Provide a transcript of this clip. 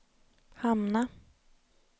hamna